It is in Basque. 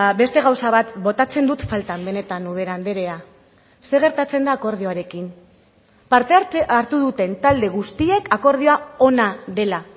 beste gauza bat botatzen dut faltan benetan ubera andrea zer gertatzen da akordioarekin parte hartu duten talde guztiek akordioa ona dela